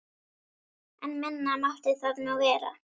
En minna mátti það nú vera.